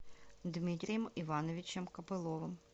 дмитрием ивановичем копыловым